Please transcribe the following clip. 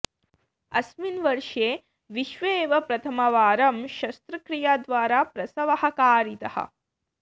अस्मिन् वर्षे विश्वे एव प्रथमवारं शस्त्रक्रियाद्वारा प्रसवः कारितः